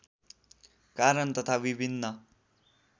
कारण तथा विभिन्न